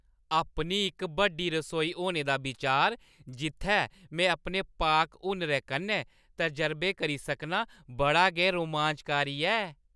अपनी इक बड्डी रसोई होने दा बिचार, जित्थै में अपने पाक-हुनरै कन्नै तजरबे करी सकनां, बड़ा गै रोमांचकारी ऐ।